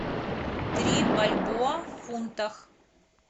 три бальбоа в фунтах